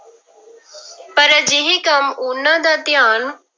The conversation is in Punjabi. ਪਰ ਅਜਿਹੇ ਕੰਮ ਉਹਨਾਂ ਦਾ ਧਿਆਨ